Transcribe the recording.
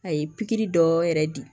A ye pikiri dɔ yɛrɛ di